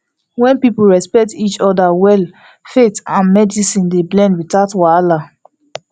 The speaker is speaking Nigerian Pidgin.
wen people respect each other well faith and medicine dey blend without wahala